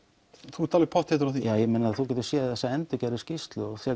þú ert alveg pottþéttur á því þú getur séð þessa endurgerðu skýrslu